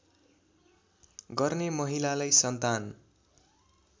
गर्ने महिलालाई सन्तान